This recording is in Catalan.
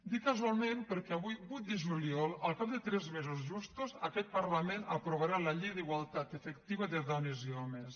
dic casualment perquè avui vuit de juliol al cap de tres mesos justos aquest parlament aprovarà la llei d’igualtat efectiva de dones i homes